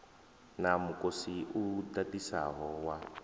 na mukosi u ḓaḓisaho wa